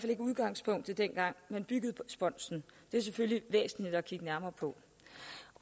ikke udgangspunktet dengang man byggede spunsen det er selvfølgelig væsentligt at kigge nærmere på